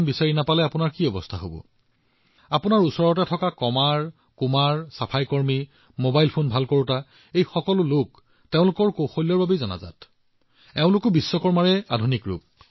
কিন্তু বন্ধুসকল ইয়াৰ আন এটা দিশ আছে আৰু কেতিয়াবা ই চিন্তাৰ কাৰণো হয় এনে এখন দেশত যত সংস্কৃতি পৰম্পৰা চিন্তা দক্ষতা জনশক্তি ভগৱান বিশ্বকৰ্মাৰ সৈতে সম্পৰ্কিত হৈ আছে তাত কেনেদৰে পৰিস্থিতি সলনি হল এটা সময়ত আমাৰ পাৰিবাৰিক জীৱন সামাজিক জীৱন দক্ষতাই ৰাষ্ট্ৰীয় জীৱনত যথেষ্ট প্ৰভাৱ পেলাইছিল